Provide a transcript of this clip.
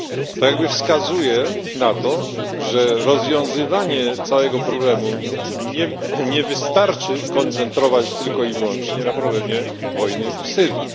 To jakby wskazuje na to, że aby rozwiązać problem, nie wystarczy koncentrować tylko i wyłącznie na problemie wojny w Syrii.